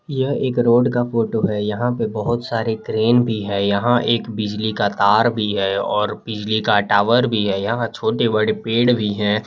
यह एक रोड का फोटो है यहां पे बहुत सारी क्रेन भी है यहां एक बिजली का तार भी है और बिजली का टावर भी है यहां छोटे-बड़े पेड़ भी हैं।